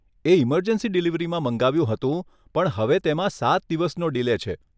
એ emergency ડિલીવરીમાં મંગાવ્યું હતું પણ હવે તેમાં સાત દિવસનો ડિલે છે.